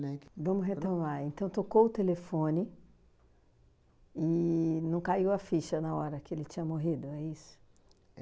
Né, que. Vamos retomar, então tocou o telefone e não caiu a ficha na hora que ele tinha morrido, é isso?